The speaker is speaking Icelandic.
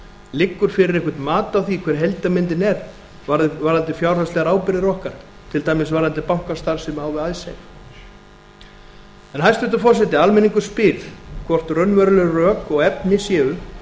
liggur fyrir eitthvert mat á því ber heildarmyndin er varðandi fjárhagslegar ábyrgðir okkar til dæmis varðandi bankastarfsemi á við icesave hæstvirtur forseti almenningur spyr hvort raunveruleg rök og efni séu